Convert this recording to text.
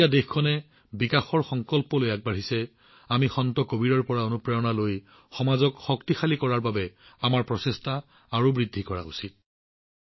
আজি যেতিয়া দেশখন বিকাশৰ সংকল্পৰে আগবাঢ়িছে আমি সন্ত কবীৰৰ পৰা অনুপ্ৰেৰণা লৈ সমাজক শক্তিশালী কৰাৰ বাবে আমাৰ প্ৰচেষ্টা বৃদ্ধি কৰা উচিত